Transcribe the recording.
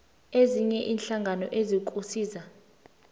ezinye iinhlangano ezikusiza